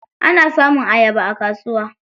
Ana samun ayaba a kasuwa.